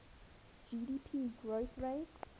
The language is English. gdp growth rates